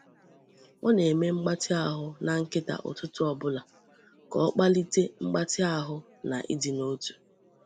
Ọ na-eme mgbatị ahụ na nkịta ụtụtụ ọ bụla ka ọ kpalite mgbatị ahụ na ịdị n’otu.